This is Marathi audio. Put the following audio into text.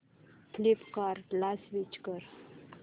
फ्लिपकार्टं ला स्विच कर